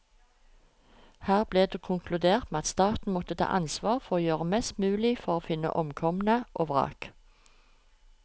Her ble det konkludert med at staten måtte ta ansvar for å gjøre mest mulig for å finne omkomne og vrak.